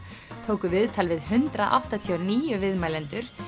tóku viðtal við hundrað áttatíu og níu viðmælendur